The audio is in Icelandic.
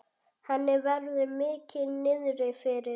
Henni verður mikið niðri fyrir.